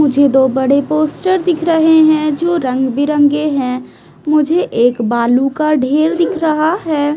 मुझे दो बड़े पोस्टर दिख रहे है जो रंग बिरंगे है मुझे एक बालू का ढेर दिख रहा है।